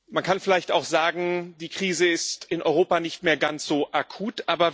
Man kann vielleicht auch sagen Die Krise ist in Europa nicht mehr ganz so akut.